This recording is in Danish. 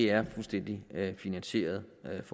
er fuldstændig finansieret